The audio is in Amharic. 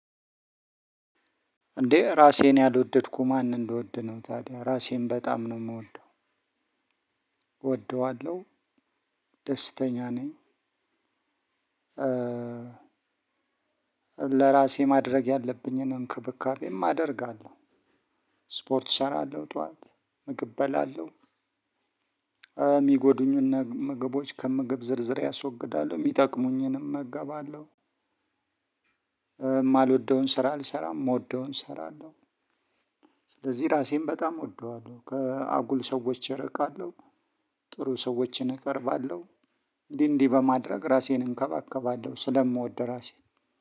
እንዴ ራሴን ያልወደድኩ ማንን ልወድ ነው ታዲያ ራሴን በጣም ነው የምወደው። እወደዋለሁ። ደስተኛ ነኝ። ለራሴ ማድረግ ያለብኝን እንክብካቤም አደርጋለሁ። ስፖርት እሰራለሁ ጠዋት ምግብ እበላለሁ። የሚጎዱኝን ምግቦች ከምግብ ዝርዝሬ አስወግዳለሁ የሚጠቅሙኝን እመገባለሁ። የማልወደውን ስራ አልሰራም የምወደውን እሰራለሁ። ስለዚህ ራሴን በጣም እወደዋለሁ ከአጉል ሰዎች እርቃለሁ። ጥሩ ሰዎችን እቀርባለሁ። እንዲህ እንዲህ በማድረግ ራሴን እንከባከባለሁ ስለምወድ ራሴን።